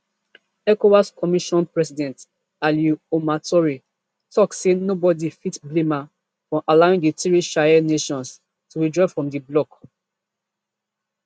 ecowas commission president alieu omar touray tok say nobody fit blame am for allowing di three sahel nations to withdraw from di bloc